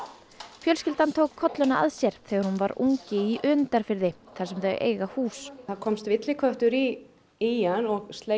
fjölskyldan tók að sér þegar hún var ungi í Önundarfirði þar sem þau eiga hús það komst villiköttur í í hann og sleit